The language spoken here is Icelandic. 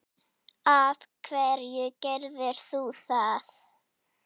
af hverju gerðir þú það?